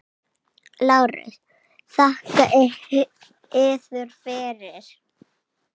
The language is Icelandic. LÁRUS: Þakka yður fyrir!